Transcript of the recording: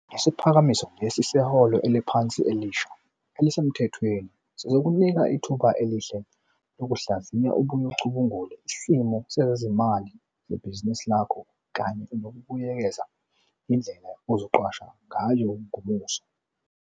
Isiphakamiso lesi seholo eliphansi elisha elisemthethweni sizokunika ithuba elihle lokuhlaziya ubuye ucubungule isimo sezezimali zebhizinisi lakho kanye nokubuyekeza indlela ozoqasha ngayo ngomuso.